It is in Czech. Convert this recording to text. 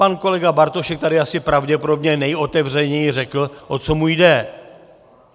Pan kolega Bartošek tady asi pravděpodobně nejotevřeněji řekl, o co mu jde.